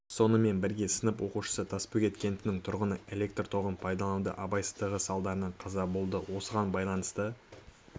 сонымен бірге сынып оқушысы тасбөгет кентінің тұрғыны электр тоғын пайдалануда абайсыздығы салдарынан қаза болды осыған байланысты